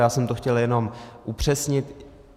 Já jsem to chtěl jenom upřesnit.